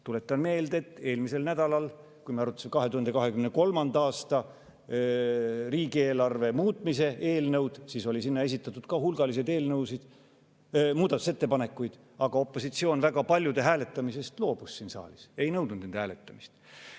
Tuletan meelde, et eelmisel nädalal, kui me arutasime 2023. aasta riigieelarve muutmise eelnõu, mille kohta oli esitatud ka hulgaliselt muudatusettepanekuid, siis opositsioon väga paljude hääletamisest siin saalis loobus, ei nõudnud nende hääletamist.